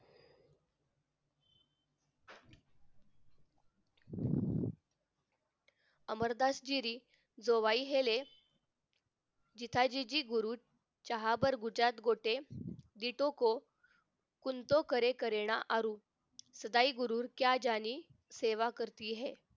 अमरदासगिरी जोवाई हेले जिथाजीजी गुरु जयाजी गोटे कुंटे करे करीना आरु सदाही गुरुर क्या ज्याने सेवा करती है